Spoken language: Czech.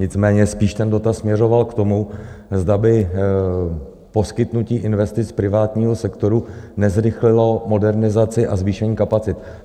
Nicméně spíš ten dotaz směřoval k tomu, zda by poskytnutí investic privátnímu sektoru nezrychlilo modernizaci a zvýšení kapacit.